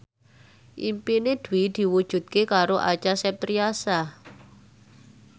impine Dwi diwujudke karo Acha Septriasa